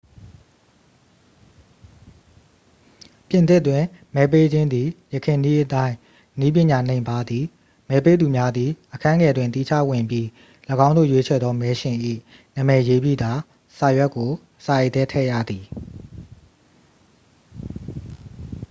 ပြင်သစ်တွင် မဲပေးခြင်းသည် ယခင်နည်းအတိုင်း နည်းပညာနိမ့်ပါးသည် မဲပေးသူများသည် အခန်းငယ်တွင် သီးခြားဝင်ပြီး ၎င်းတို့ရွေးချယ်သော မဲရှင်၏ နာမည်ရေးပြီးသာ စာရွက်ကို စာအိတ်ထဲထည့်ရသည်